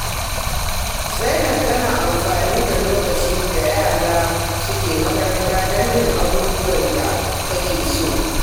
Zainab tana amfani da lokacin da yara suke makaranta don yin abubuwan da take so.